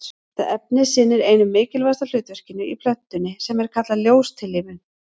Þetta efni sinnir einu mikilvægasta hlutverkinu í plöntunni sem er kallað ljóstillífun.